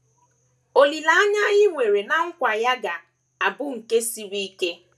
Olileanya anyị nwere ná nkwa ya ga - abụ nke siri ike.